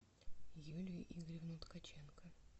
юлию игоревну ткаченко